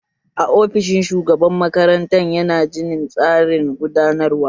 Aa, ofishin shugaban makaranta yana ginin tsarin gudanarwa